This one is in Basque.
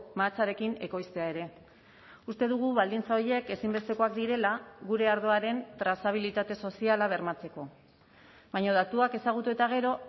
mahatsarekin ekoiztea ere uste dugu baldintza horiek ezinbestekoak direla gure ardoaren trazabilitate soziala bermatzeko baina datuak ezagutu eta gero